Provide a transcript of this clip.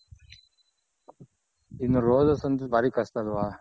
ಇನ್ನ roses ಒಂತು ಬಾರಿ ಕಷ್ಟ ಅಲ್ವ.